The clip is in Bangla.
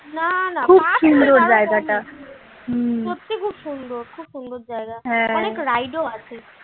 না না সত্যি খুব সুন্দর খুব সুন্দর জায়গা অনেক ride ও আছে।